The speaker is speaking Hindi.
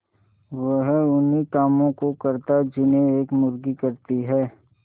वह उन्ही कामों को करता जिन्हें एक मुर्गी करती है